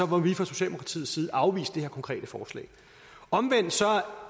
må vi fra socialdemokratiets side afvise det her konkrete forslag omvendt